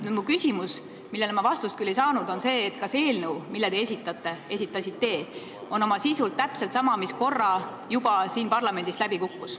Minu küsimus, millele ma vastust küll ei saanud, on see, et kas eelnõu, mille te esitasite, on oma sisult täpselt sama kui see, mis korra juba siin parlamendis läbi kukkus.